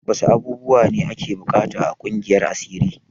Wasu abubuwa ne ake buƙata a ƙungiyar asiri?